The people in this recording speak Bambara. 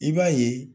I b'a ye